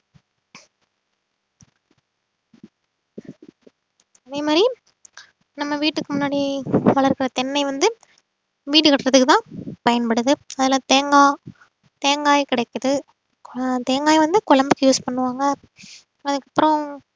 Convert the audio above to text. அதே மாதிரி நம்ம வீட்டுக்கு முன்னாடி வளர்க்கிற தென்னை வந்து வீடு கட்டுறதுக்குத்தான் பயன்படுது அதுல தேங்காய் தேங்காய் கிடைக்குது ஆஹ் தேங்காய் வந்து குழம்புக்கு use பண்ணுவாங்க அதுக்கு அப்புறம்